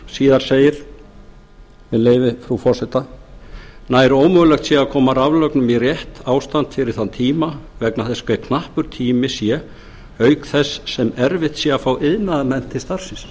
síðar segir með leyfi frú forseta nær ómögulegt er að koma raflögnum í rétt ástand fyrir þann tíma vegna þess hve knappur tíminn sé auk þess sem erfitt sé að fá iðnaðarmenn til starfsins